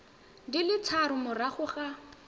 di le tharo morago ga